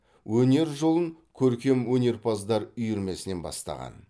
өнер жолын көркемөнерпаздар үйірмесінен бастаған